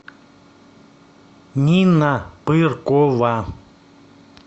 нина пыркова